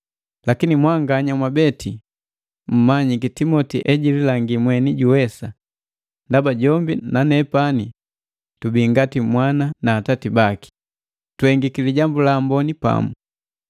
Lakini mwanganya mwabeti mmanyiki Timoti ejililangi mweni juwesa, ndaba jombi na nepani tubii ngati mwana na atati baki, tuhengiki lihengu li Lijambu la Amboni pamu.